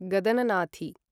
गदननाथी